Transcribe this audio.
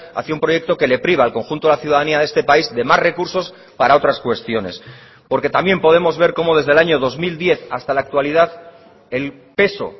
hacia un proyecto que le priva al conjunto de la ciudadanía de este país de más recursos para otras cuestiones porque también podemos ver como desde el año dos mil diez hasta la actualidad el peso